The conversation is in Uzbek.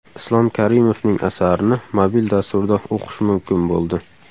Islom Karimovning asarini mobil dasturda o‘qish mumkin bo‘ldi.